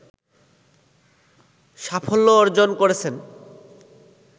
সাফল্য অর্জন করেছেন